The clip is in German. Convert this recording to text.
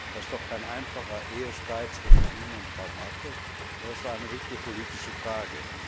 Das ist doch kein einfacher Ehestreit zwischen Ihnen und Frau Merkel, sondern eine wichtige politische Frage!